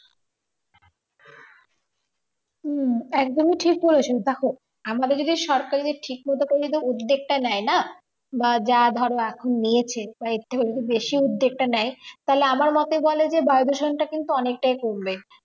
উম একদমই ঠিক বলেছো দেখো আমাদের যদি সরকারের ঠিক মতো করে উদ্দেগটা নেই না বা যা ধরো এখন নিয়েছে বা এর থেকে যদি বেশি উদ্যোগটা নেই তাহলে আমার মতে বলে বায়ুদূষণটা কিন্তু অনেকটাই কমবে